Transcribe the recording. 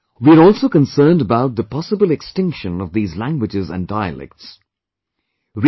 At the same time, we are also concerned about the possible extinction of these languages and dialects